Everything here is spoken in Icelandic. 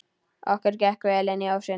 Okkur gekk vel inn ósinn.